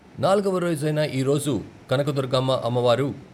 నాల్గవ రోజైన ఈరోజు కనకదుర్గమ్మ అమ్మ వారు.